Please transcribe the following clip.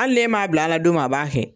Hali n'e m'a bila a la don min a b'a kɛ.